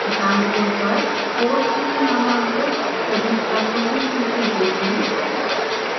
दायीं ओर पर course में नामांकित सभी छात्रों की सूची देखें